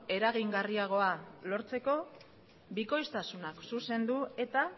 eragingarriagoa lortzeko bikoiztasunak zuzendu eta